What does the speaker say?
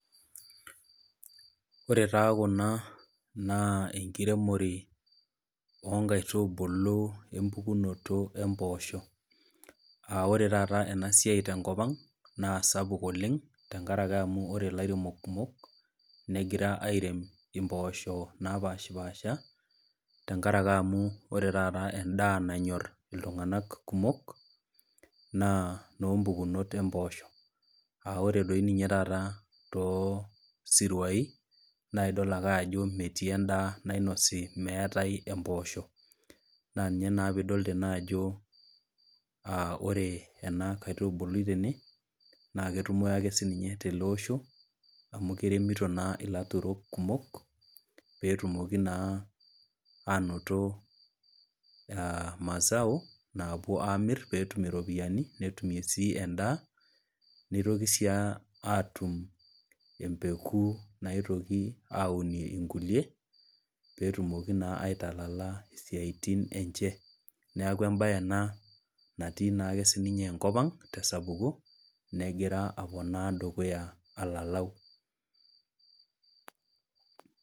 Ore taa kuna naa enkiremore onkaitubulu empukunoto emposho, ah ore taata enasiai tenkop ang, na sapuk oleng, tenkaraki amu ore lairemok kumok, negira airem impoosho napashipasha, tenkaraki amu ore taata endaa nanyor iltung'anak kumok, naa nompukunot empoosho. Ah ore doi ninye taata tosiruai, na idol ake ajo metii endaa nainosi meetae empoosho. Na ninye naa pidol tene ajo ore ena kaitubului tene, na ketumi ake sininye tele osho, amu keremito naa ilaturok kumok, petumoki naa anoto mazao, napuo amir petum iropiyiani, netumie si endaa, nitoki si atum empeku naitoki aunie nkulie, petumoki naa aitalala isiaitin enche. Neeku ebae ena natii naa sininye enkop ang tesapuko, negira aponaa dukuya alalau.